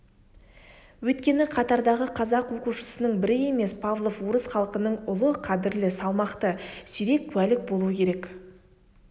өйткені қатардағы қазақ оқушысының бірі емес павлов орыс халқының ұлы қадірлі салмақты сирек куәлік болу керек